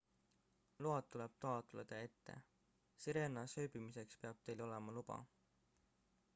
load tuleb taotleda ette sirenas ööbimiseks peab teil olema luba